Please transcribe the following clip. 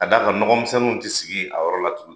Ka d'a kan mɔgɔmisɛnnu ti sigi a yɔrɔ la tuguni